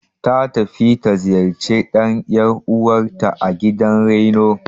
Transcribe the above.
Ta tafi ta ziyarci ɗan ƴar'uwanrta a gidan raino.